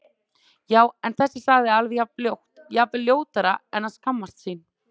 Já- en þessi sagði alveg jafn ljótt, jafnvel ljótara En að skammast sín?